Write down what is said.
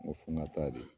N ko fo n ka taa de